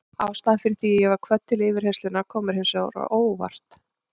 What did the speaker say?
Ástæðan fyrir því að ég var kvödd til yfirheyrslunnar kom mér hins vegar á óvart.